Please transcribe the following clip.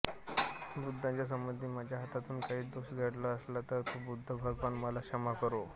बुद्धाच्या संबंधी माझ्या हातून काही दोष घडला असला तर तो बुद्ध भगवान मला क्षमा करो